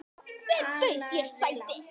Hver bauð þér sæti?